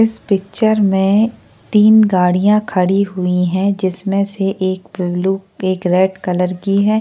इस पिक्चर में तीन गाड़ियाँ खड़ी हुई है जिसमें से एक ब्लू एक रेड कलर की है।